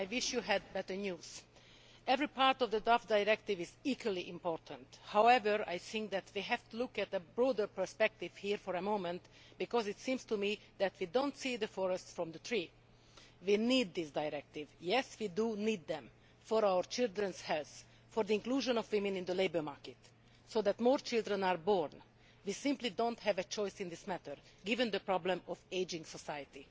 I wish he had better news. Every part of the draft directive is equally important. However, I think that we have to look at a broader perspective here for a moment because it seems to me that we cannot see the wood for the trees. We need these directives yes, we do need them for our children's health and for the inclusion of women in the labour market, so that more children are born. We simply do not have a choice in this matter, given the problem of an ageing society.